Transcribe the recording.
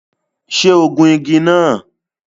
Ṣé ó gun igi náà?